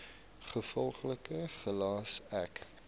gevolglik gelas ek